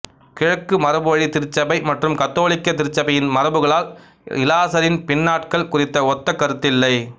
கிழக்கு மரபுவழி திருச்சபை மற்றும் கத்தோலிக்க திருச்சபையின் மரபுகளில் இலாசரின் பின்னாட்கள் குறித்த ஒத்த கருத்தில்லை